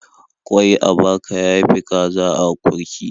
Ƙwai a baka ya fi kaza a akurki.